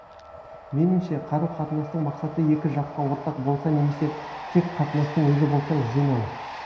меніңше қарым қатынастың мақсаты екі жаққа ортақ болса немесе тек қатынастың өзі болса жөн ау